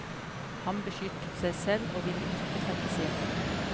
Han beskyttet seg selv og ville ikke trekkes inn.